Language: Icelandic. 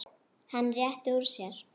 Hann réttir úr sér.